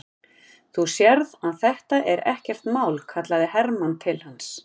Þú sérð að þetta er ekkert mál, kallaði Hermann til hans.